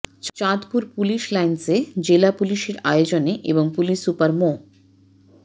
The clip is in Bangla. চাঁদপুর পুলিশ লাইন্সে জেলা পুলিশের আয়োজনে এবং পুলিশ সুপার মো